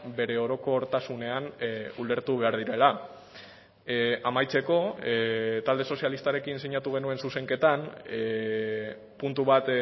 bere orokortasunean ulertu behar direla amaitzeko talde sozialistarekin sinatu genuen zuzenketan puntu bat